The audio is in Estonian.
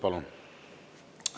Palun!